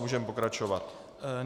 Můžeme pokračovat.